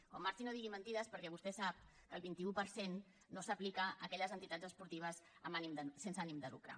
quan marxi no digui mentides perquè vostè sap que el veinte un per cent no s’aplica a aquelles entitats esportives sense ànim de lucre